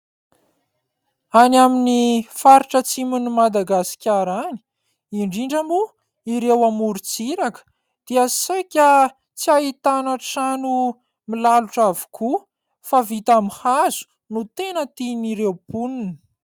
Any amin' ny faritra atsimon' i Madagasikara any indrindra moa ireo amoron-tsiraka dia saika tsy ahitana trano milalotra avokoa fa vita amin' ny hazo no tena tian'ireo mponina.